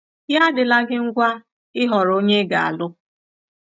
Ya adịla gi ngwa ịhọrọ onye ị ga-alụ!